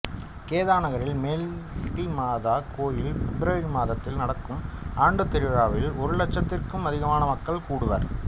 கேதா நகரத்தில் மேல்தி மாதா கோயில் பிப்ரவரி மாதத்தில் நடக்கும் ஆண்டுத் திருவிழாவில் ஒரு இலட்சத்திற்கும் அதிகமான மக்கள் கூடுவர்